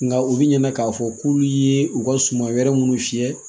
Nka u bi ɲinɛ k'a fɔ k'u ye u ka suman wɛrɛ minnu fiyɛ